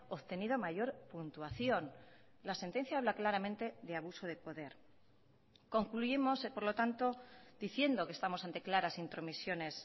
obtenido mayor puntuación la sentencia habla claramente de abuso de poder concluimos por lo tanto diciendo que estamos ante claras intromisiones